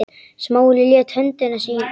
Smári lét höndina síga.